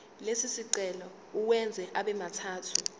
lesicelo uwenze abemathathu